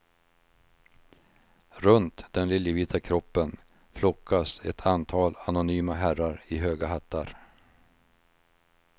Runt den liljevita kroppen flockas ett antal anonyma herrar i höga hattar.